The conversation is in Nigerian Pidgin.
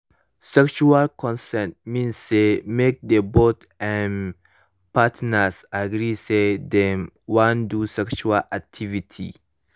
sexual consent mean say mk the both um partners agree say dem wan do sexual activity